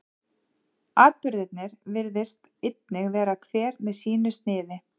atburðirnir virðist einnig vera hver með sínu sniði